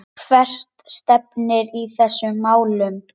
Hvert stefnir í þessum málum?